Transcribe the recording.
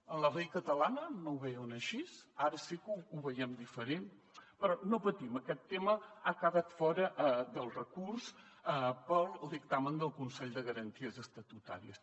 en la llei catalana no ho veien així ara sí que ho veiem diferent però no patim aquest tema ha quedat fora del recurs per al dictamen del consell de garanties estatutàries